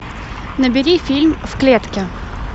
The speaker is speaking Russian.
набери фильм в клетке